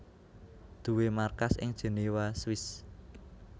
duwé markas ing Jenewa Swiss